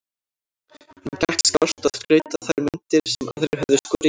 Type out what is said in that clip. Honum gekk skást að skreyta þær myndir sem aðrir höfðu skorið í tré.